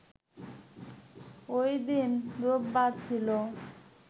ওইদিন রোববার ছিল